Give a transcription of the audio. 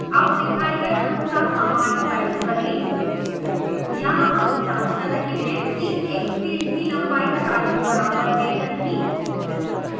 अब दिखाए गए अनुसार command type करें यहाँ हम जाँच कर रहे हैं कि 1st फिल्ड की लंबाई 4 के बराबर है या नहीं